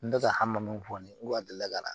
N tɛ ka hama min fɔ ne ye ko a deli la ka na